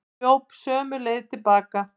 Hljóp sömu leið til baka.